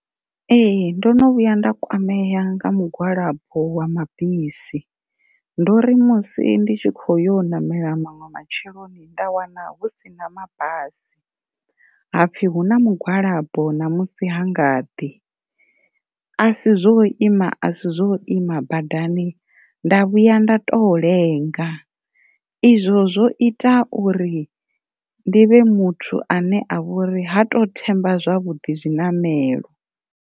Ee ndo no vhuya nda kwamea nga mugwalabo wa mabisi, ndo uri musi ndi tshi kho yo namela maṅwe matsheloni nda wana hu si na mabasi hapfi hu na mugwalabo ṋamusi ha nga ḓi, asi zwo ima a si zwo ima badani nda vhuya nda to lenga, izwo zwo ita uri ndi vhe muthu ane a vha uri ha to themba zwavhuḓi zwiṋamelo.